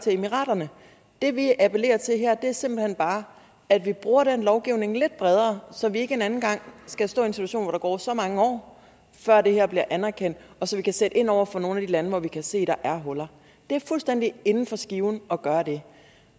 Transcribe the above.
emiraterne det vi appellerer til her er simpelt hen bare at vi bruger den lovgivning lidt bredere så vi ikke en anden gang skal stå i en situation hvor der går så mange år før det her bliver anerkendt så vi kan sætte ind over for nogle af de lande hvor vi kan se der er huller det er fuldstændigt inden for skiven at gøre det